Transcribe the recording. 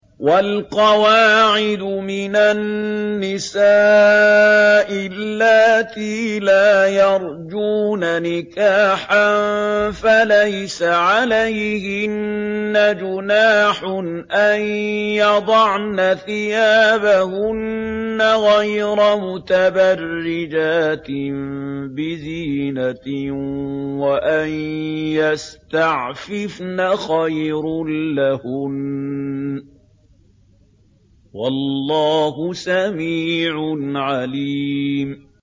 وَالْقَوَاعِدُ مِنَ النِّسَاءِ اللَّاتِي لَا يَرْجُونَ نِكَاحًا فَلَيْسَ عَلَيْهِنَّ جُنَاحٌ أَن يَضَعْنَ ثِيَابَهُنَّ غَيْرَ مُتَبَرِّجَاتٍ بِزِينَةٍ ۖ وَأَن يَسْتَعْفِفْنَ خَيْرٌ لَّهُنَّ ۗ وَاللَّهُ سَمِيعٌ عَلِيمٌ